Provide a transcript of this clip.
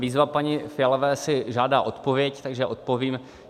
Výzva paní Fialové si žádá odpověď, takže odpovím.